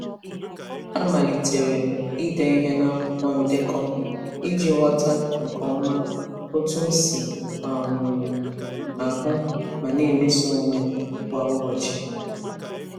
A malitere m ide ihe n'akwụkwọ ndekọ iji ghọta nke ọma otú m si um ahụ ma na-emeso onwe m kwa ụbọchị.